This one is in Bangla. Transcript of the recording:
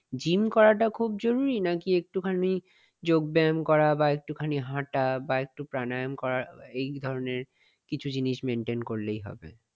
gym খুব করাটা জরুরী নাকি একটু খানি যোগ ব্যাম করা একটু খানি হাটা বা একটু প্রাণায়াম করা এই ধরনের কিছু জিনিস maintain করলেই হবে।